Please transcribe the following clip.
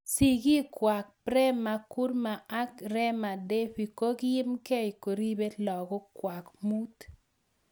Sigikwaak Prema Kumaar ak Rema Devi kokiim gei koripee lagok kwak muut